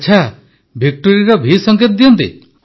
ଆଚ୍ଛା ଭିକ୍ଟୋରୀର ଭି ସଙ୍କେତ ଦିଅନ୍ତି